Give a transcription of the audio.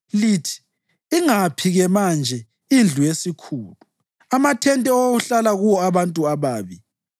Lithi, ‘Ingaphi-ke manje indlu yesikhulu, amathente okwakuhlala kuwo abantu ababi?’